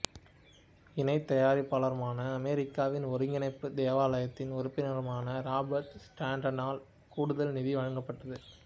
இணை தயாரிப்பாளரும் அமெரிக்காவின் ஒருங்கிணைப்பு தேவாலயத்தின் உறுப்பினருமான ராபர்ட் ஸ்டாண்டர்டால் கூடுதல் நிதி வழங்கப்பட்டது